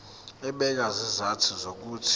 ebeka izizathu zokuthi